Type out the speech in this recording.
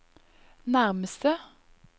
nærmeste